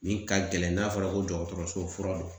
Min ka gɛlɛn n'a fɔra ko dɔgɔtɔrɔso fura don